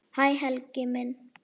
Hæ Helgi minn.